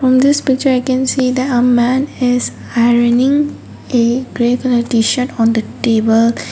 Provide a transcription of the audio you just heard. in this picture i can see that a man is ironing a grey colour t-shirt on the table.